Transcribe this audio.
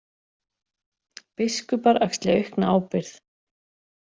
Biskupar axli aukna ábyrgð